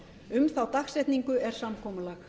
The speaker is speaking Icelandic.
um þá dagsetningu er samkomulag